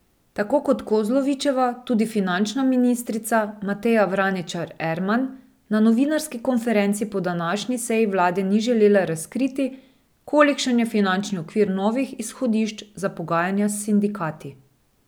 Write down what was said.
Tako kot Kozlovičeva tudi finančna ministrica Mateja Vraničar Erman na novinarski konferenci po današnji seji vlade ni želela razkriti, kolikšen je finančni okvir novih izhodišč za pogajanja s sindikati.